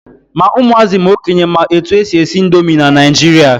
Ma ụmụazị ma okenye ma etu e si esi indomi na Naijiria.